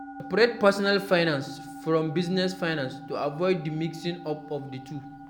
Seprate personal finance from business finance to avoid di mixing up of di two